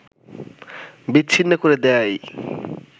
বিচ্ছিন্ন করে দেয়াই